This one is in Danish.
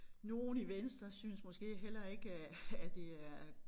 Nogle i venstre synes måske heller ikke at at det er